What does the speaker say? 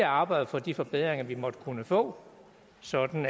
arbejde for de forbedringer vi måtte kunne få sådan